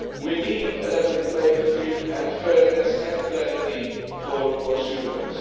We need a level playing field, and fairness and clarity for consumers.